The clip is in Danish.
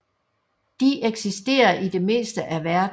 De eksisterer i det meste af verden